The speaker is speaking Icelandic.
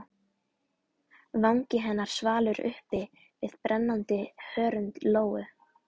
Vangi hennar svalur uppi við brennandi hörund Lóu.